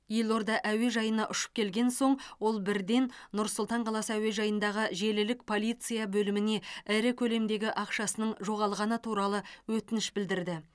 елорда әуежайына ұшып келген соң ол бірден нұр сұлтан қаласы әуежайындағы желілік полиция бөліміне ірі көлемдегі ақшасының жоғалғаны туралы өтініш білдірді